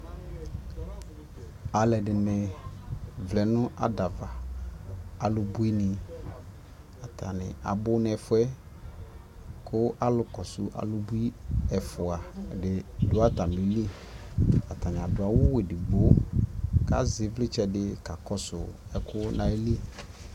alʋɛdini vlɛnʋ ada aɣa, alʋbʋi ni kʋ atani abʋ nʋ ɛƒʋɛ kʋ alʋ kɔsʋ alʋbʋi ɛƒʋa ɛdini.dʋ.atamili kʋ.atani adʋ awʋ ɛdigbɔ kʋ azɛ ivlitsɛ fi.kakɔsʋ ɛkʋ nʋ ali.